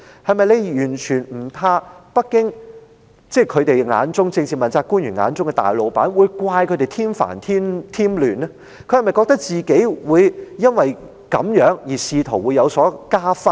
他們是否完全不怕北京，即是政治問責官員眼中的大老闆，會怪責他們添煩添亂，他們是否認為自己因而可以加薪呢？